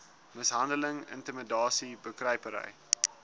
mishandeling intimidasie bekruipery